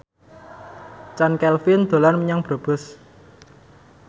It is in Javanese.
Chand Kelvin dolan menyang Brebes